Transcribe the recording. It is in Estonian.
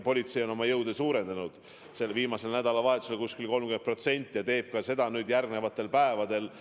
Politsei on oma jõude suurendanud, viimasel nädalavahetusel oli neid väljas umbes 30% rohkem ja seda tehakse ka järgmistel päevadel.